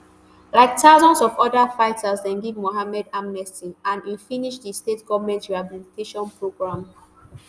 like thousands of oda um fighters dem give muhammad amnesty and im finish di state goment rehabilitation program